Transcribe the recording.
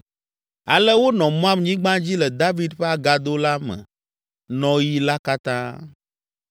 Ale wonɔ Moab nyigba dzi le David ƒe agado la me nɔɣi la katã.